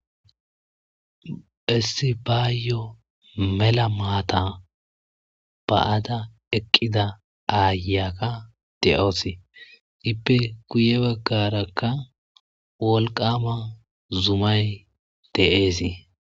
Issibayo mella maata baada eqqida ayiya de7awusu iippe guyye baggaraka wolqqama zummay de7es.